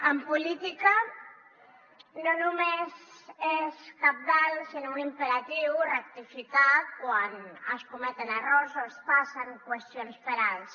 en política no només és cabdal sinó un imperatiu rectificar quan es cometen errors o es passen qüestions per alt